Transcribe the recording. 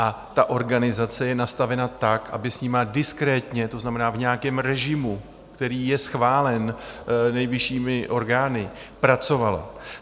A ta organizace je nastavena tak, aby s nimi diskrétně, to znamená v nějakém režimu, který je schválen nejvyššími orgány, pracovala.